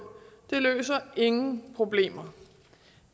løser ingen problemer